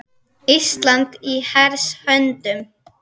Ísland í hers höndum